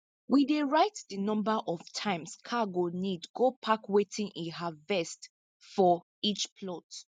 we dey write di number of times car go need go park wetin we harvest for each plot